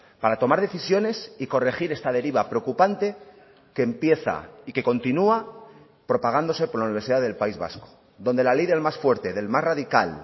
para tomar decisiones y corregir esta deriva preocupante que empieza y que continúa propagándose por la universidad del país vasco donde la ley del más fuerte del más radical